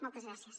moltes gràcies